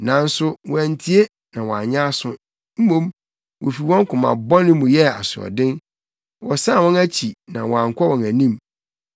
Nanso wɔantie na wɔanyɛ aso; mmom, wofi wɔn koma bɔne mu yɛɛ asoɔden. Wɔsan wɔn akyi na wɔankɔ wɔn anim.